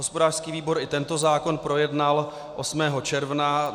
Hospodářský výbor i tento zákon projednal 8. června.